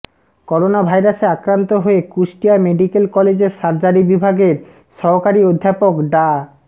করোনাভাইরাসে আক্রান্ত হয়ে কুষ্টিয়া মেডিকেল কলেজের সার্জারি বিভাগের সহকারী অধ্যাপক ডা